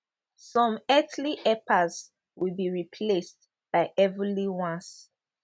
some earthly helpers will be replaced by heavenly ones